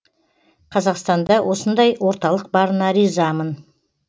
қазақстанда осындай орталық барына ризамын